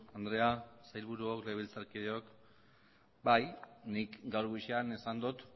andrea sailburuok legebiltzarkideok bai nik gaur goizean esan dut